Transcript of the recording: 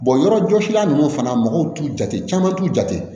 yɔrɔjɔsilan ninnu fana mɔgɔw t'u jate caman t'u jate